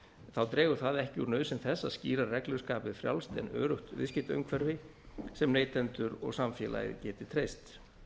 þá dregur það ekki úr nauðsyn þess að skýrar reglur skapi frjálst en öruggt viðskiptaumhverfi sem neytendur og samfélagið geti treyst